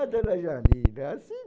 Ah, dona Janina, assim